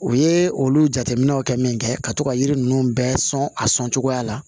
U ye olu jateminɛw kɛ min kɛ ka to ka yiri ninnu bɛɛ sɔn a sɔncogoya la